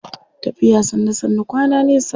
Tafiya sannu sannu kwana nesa.